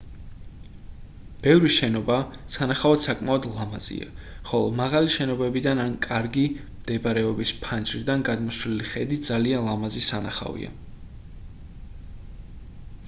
ბევრი შენობა სანახავად საკმაოდ ლამაზია ხოლო მაღალი შენობიდან ან კარგი მდებარეობის ფანჯრიდან გადმოშლილი ხედი ძალიან ლამაზი სანახავია